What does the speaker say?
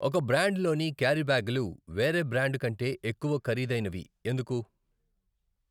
ఒక బ్రాండ్ లోని క్యారీ బ్యాగులు వేరే బ్రాండు కంటే ఎక్కువ ఖరీదైనవి ఎందుకు?